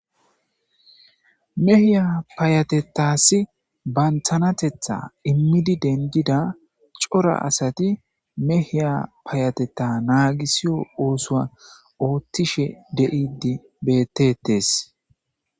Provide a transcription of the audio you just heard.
Mehiya payatetasi banthanatetha immidi dengida cora asati mehiya payateta naagisiyo oosoa oothtishe de7idi betetes.